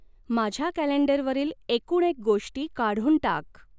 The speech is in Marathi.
माझ्या कॅलेंडरवरील एकूणएक गोष्टी काढून टाक